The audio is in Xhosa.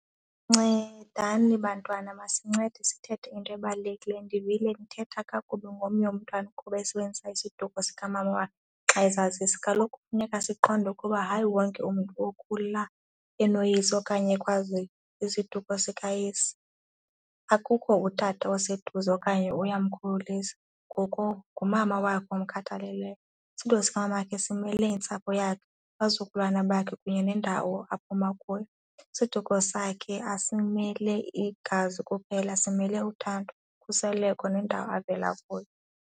Ncedani bantwana, masincede sithethe ngento ebalulekileyo. Ndivile nithetha kakubi ngomnye umntwana kuba esebenzisa isiduko sikamama wakhe xa ezazisa. Kaloku kufuneka siqonde ukuba hayi wonke umntu okhula enoyise okanye ekwazi isiduko sikayise. Akukho utata oseduze okanye uyamkhulisa ngoko ngumama wakhe omkhathaleleyo. Isiduko sikamama wakhe simele intsapho yakhe, abazukulwana bakhe kunye nendawo aphuma kuyo. Isiduko sakhe asimele igazi kuphela, simele uthando, ukhuseleko nendawo avela kuyo.